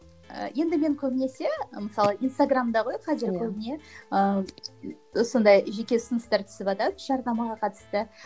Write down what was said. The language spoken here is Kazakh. і енді мен көбінесе мысалы инстаграмда ғой қазір көбіне ыыы сондай жеке ұсыныстар түсіватады жарнамаға қатысты